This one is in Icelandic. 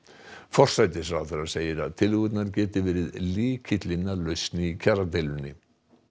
forsætisráðherra segir að tillögurnar geti verið lykillinn að lausn í kjaradeilunni